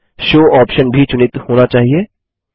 show option भी चुनित होना चाहिए